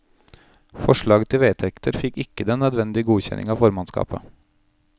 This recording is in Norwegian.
Forslaget til vedtekter fikk ikke den nødvendige godkjenning av formannskapet.